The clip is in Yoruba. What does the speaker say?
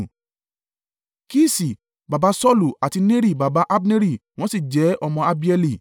Kiṣi baba Saulu àti Neri baba Abneri wọ́n sì jẹ́ ọmọ Abieli.